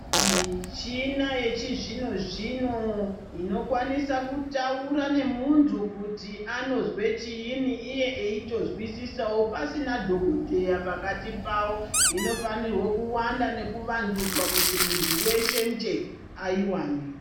Michina yechizvino zvino inokwanisa kutaura nemuntu kuti anozwa chiini iye achitozwisisawo pasina dhokodheya pakati pavo inofanirwe kuwanda nekuvandudzwa kuti muntu weshenje aiwane.